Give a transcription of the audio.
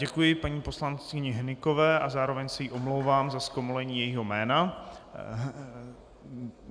Děkuji paní poslankyni Hnykové a zároveň se jí omlouvám za zkomolení jejího jména.